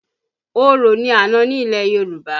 Orò ni àna ní ilẹ̀ Yorùbá